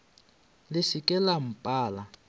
le se ke la mpala